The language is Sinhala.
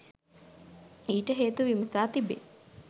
ඊට හේතු විමසා තිබේ.